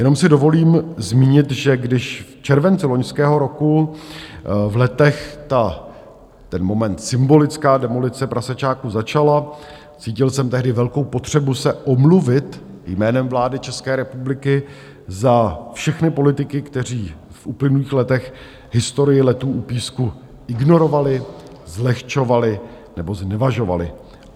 Jenom si dovolím zmínit, že když v červenci loňského roku v Letech ten moment, symbolická demolice prasečáku začala, cítil jsem tehdy velkou potřebu se omluvit jménem vlády České republiky za všechny politiky, kteří v uplynulých letech historii Letů u Písku ignorovali, zlehčovali nebo znevažovali.